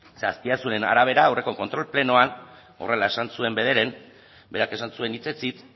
ze azpiazuren arabera aurreko kontrol plenoan horrela esan zuen bederen berak esan zuen hitzez hitz